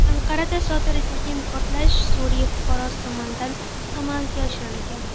Anqarada sodir etilgan portlash Suriya fuqarosi tomonidan amalga oshirilgan.